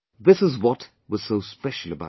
This is what was so special about him